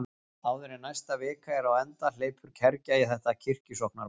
Áður en næsta vika er á enda hleypur kergja í þetta kirkjusóknarmál.